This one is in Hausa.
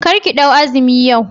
Karki ɗau azumi yau